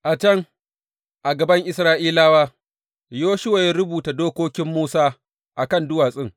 A can, a gaban Isra’ilawa, Yoshuwa ya rubuta dokokin Musa a kan duwatsun.